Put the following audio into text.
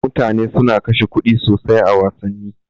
Mutane suna kashe kuɗi sosai a wassani.